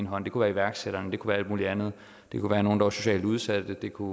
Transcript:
hånd det kunne være iværksætterne det kunne være alt muligt andet det kunne være nogle der var socialt udsatte det kunne